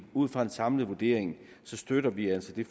ud fra en samlet vurdering støtter vi altså det